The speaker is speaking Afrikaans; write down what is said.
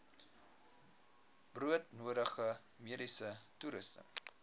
broodnodige mediese toerusting